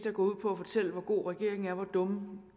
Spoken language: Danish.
er gået ud på at fortælle hvor god regeringen er og hvor dumme